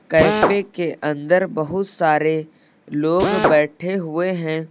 Cafe के अंदर बहुत सारे लोग बैठे हुए हैं।